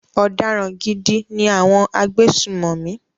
Ọ̀daràn gidi ni àwọn agbésùnmọ̀mí.